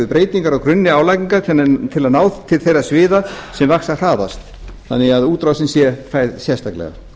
breytingar á grunni álagningar til að ná til þeirra sviða sem vaxa hraðast þannig að útrásin sé færð sérstaklega